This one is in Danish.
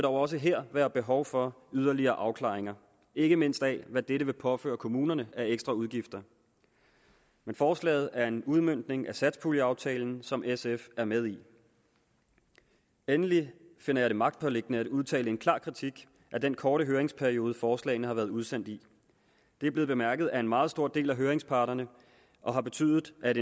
også her være behov for yderligere afklaring ikke mindst af hvad det vil påføre kommunerne af ekstraudgifter men forslaget er en udmøntning af satspuljeaftalen som sf er med i endelig finder jeg det magtpåliggende at udtale en klar kritik af den korte høringsperiode forslagene har været udsendt i det er blevet bemærket af en meget stor del af høringsparterne og har betydet at